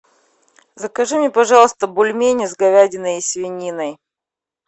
закажи мне пожалуйста бульмени с говядиной и свининой